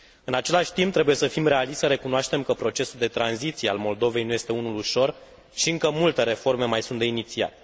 În același timp, trebuie să fim realiști și să recunoaștem că procesul de tranziție al Moldovei nu este unul ușor și încă multe reforme mai sunt de inițiat.